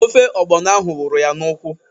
Ofe ọgbọnọ ahụ wụrụ ya n'ụkwụ